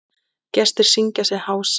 Gestir syngja sig hása.